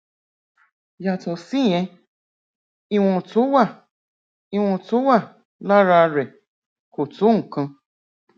yàtọ síyẹn ìwọn tó wà ìwọn tó wà lára rẹ kò tó nǹkan